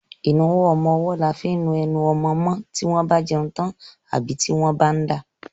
Ìnuwọ́ ọmọwọ́ là fi ń nu enu ọmọmọ́ tí wọ́n bá jẹun tán àbí tí wọ́n bá ń dà.